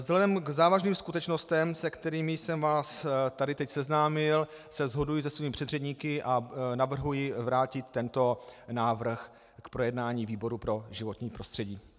Vzhledem k závažným skutečnostem, se kterými jsem vás tady teď seznámil, se shoduji se svými předřečníky a navrhuji vrátit tento návrh k projednání výboru pro životní prostředí.